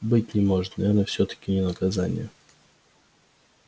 быть не может наверное всё-таки не наказание